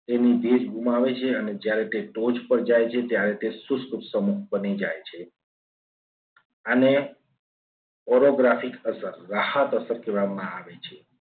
તેને ભેજ ગુમાવે છે. અને ત્યારે તે ટોચ પર જાય છે. ત્યારે તે શુષ્ક સમૂહ બની જાય છે. અને chorographic અસર રાહત અસર કહેવામાં આવે છે.